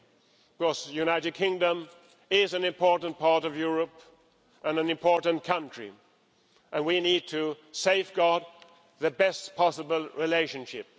Of course, the United Kingdom is an important part of Europe and an important country, and we need to safeguard the best possible relationship.